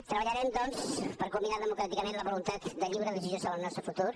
treballarem doncs per culminar democràticament la voluntat de lliure decisió sobre el nostre futur